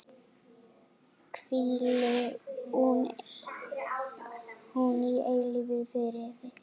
Hvíli hún í eilífum friði.